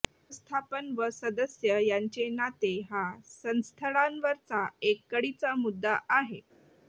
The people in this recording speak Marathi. व्यवस्थापन व सदस्य यांचे नाते हा संस्थळांवरचा एक कळीचा मुद्दा आहे